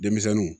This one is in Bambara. Denmisɛnninw